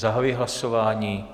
Zahajuji hlasování.